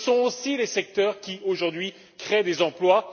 Ce sont aussi les secteurs qui, aujourd'hui, créent des emplois.